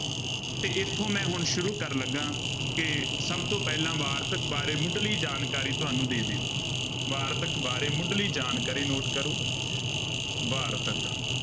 ਤੇ ਇੱਥੋਂ ਮੈਂ ਹੁਣ ਸ਼ੁਰੂ ਕਰਨ ਲੱਗਾਂ ਕਿ ਸਭ ਤੋਂ ਪਹਿਲਾਂ ਵਾਰਤਕ ਬਾਰੇ ਮੁੱਢਲੀ ਜਾਣਕਾਰੀ ਤੁਹਾਨੂੰ ਦੇ ਦੇਵਾਂ ਵਾਰਤਕ ਬਾਰੇ ਮੁੱਢਲੀ ਜਾਣਕਾਰੀ note ਕਰੋ ਵਾਰਤਕ।